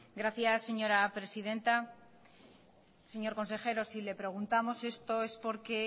gracias señora presidenta señor consejero si le preguntamos esto es porque